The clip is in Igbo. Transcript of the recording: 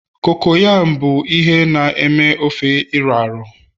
cocoyam bụ ihe na eme ofe iro a ro